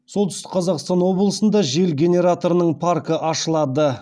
солтүстік қазақстан облысында жел генераторының паркі ашылады